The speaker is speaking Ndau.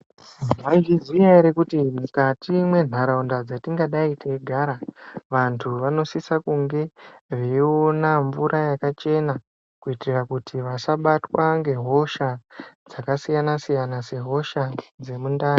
Maizviziya here kuti mukati mwenharaunda dzetinga dai teigara vantu vanosisa kunge veyiona mvura yakachena kuitira kuti vasabatwa nehosha dzakasiyana siyana sehosha yemundani.